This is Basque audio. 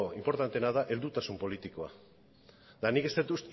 inportanteena da heldutasun politikoa eta nik ez dut